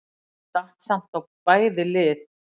Það datt samt á bæði lið.